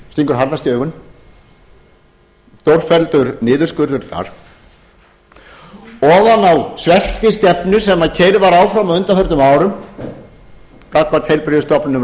stingur harðast í augun stórfelldur niðurskurður þar ofan á sveltistefnuna sem keyrð var áfram á undanförnum árum gagnvart heilbrigðisstofnunum